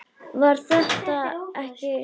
Var þetta ekki Stína?